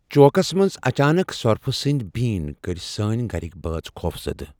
چوكس منز اچانك سۄرفہٕ سندۍ بیٖن كٔرۍ سٲنۍ گھرِکۍ بٲژ خوفزدٕ ۔